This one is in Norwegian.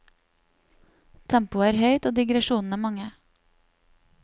Tempoet er høyt og digresjonene mange.